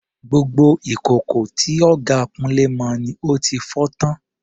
Gbogbo ìkòkò tí ọ̀gá Kunle mọ ni ó fi fọ́ tán.